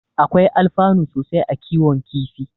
Akwai alfanu sosai a kiwon kifi.